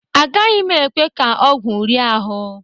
Agaghị m ekwe ka ọgwụ rie ahụ.